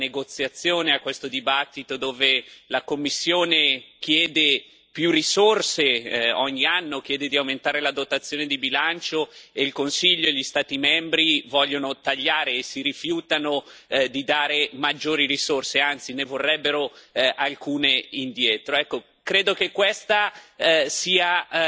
Come al solito assistiamo a questa negoziazione, a questo dibattito dove la Commissione chiede più risorse ogni anno chiede di aumentare la dotazione di bilancio e il Consiglio e gli Stati membri vogliono tagliare e si rifiutano di dare maggiori risorse, anzi ne vorrebbero alcune indietro.